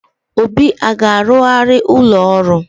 Obi a ga-arụgharị ụlọ ọrụ?